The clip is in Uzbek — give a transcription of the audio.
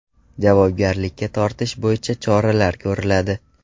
Javobgarlikka tortish bo‘yicha choralar ko‘riladi.